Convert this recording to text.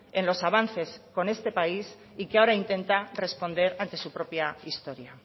en los avances con este país y que ahora intenta responder ante su propia historia